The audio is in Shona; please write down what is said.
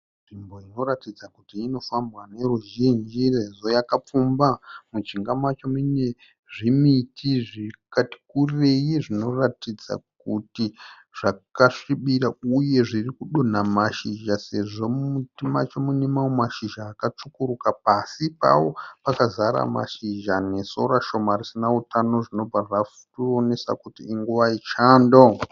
Nzvimbo inoratidza kuti inofambwa neruzhinji sezvo yakapfumba. Mujinga macho mune zvimiti zvakati kurei zvinoratidza kuti zvakasvibira uye zviri kudonha mashizha sezvo mumuti macho muine mamwe mashizha akatsvukuruka. Pasi pawo pakazara mazhizha nesora shoma risina utano zvinobva zvationesa kuti inguva yechando.